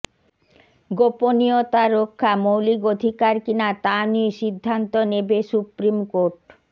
গোপনীয়তা রক্ষা মৌলিক অধিকার কিনা তা নিয়ে সিদ্ধান্ত নেবে সুপ্রিম কোর্ট